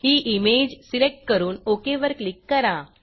ही image select करून okay वर click करा